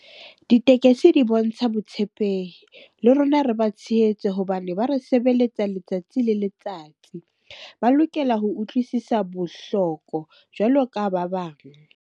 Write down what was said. Ditekesi di bontsha botshepehi le rona re ba tshehetse hobane ba re sebeletsa letsatsi le letsatsi. Ba lokela ho utlwisisa bohloko jwalo ka ba bang.